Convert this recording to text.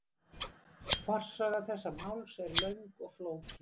Forsaga þessa máls er löng og flókin.